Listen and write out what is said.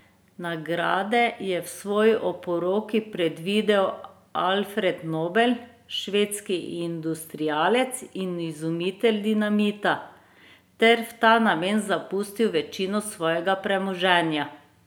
Nagrade je v svoji oporoki predvidel Alfred Nobel, švedski industrialec in izumitelj dinamita, ter v ta namen zapustil večino svojega premoženja.